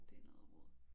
Det noget rod